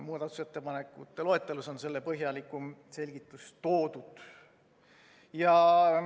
Muudatusettepanekute loetelus on selle põhjalikum selgitus toodud.